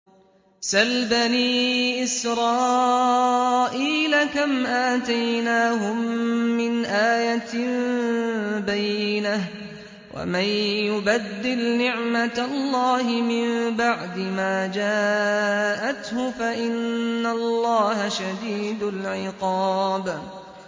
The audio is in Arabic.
سَلْ بَنِي إِسْرَائِيلَ كَمْ آتَيْنَاهُم مِّنْ آيَةٍ بَيِّنَةٍ ۗ وَمَن يُبَدِّلْ نِعْمَةَ اللَّهِ مِن بَعْدِ مَا جَاءَتْهُ فَإِنَّ اللَّهَ شَدِيدُ الْعِقَابِ